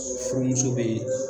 Furumuso bɛ yen